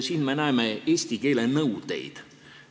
Siin me näeme eesti keele nõudeid.